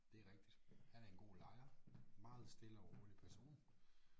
Det er rigtigt han er en god lejer. Meget stille og rolig person